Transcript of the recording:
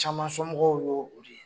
Caman somɔgɔw ye o de ye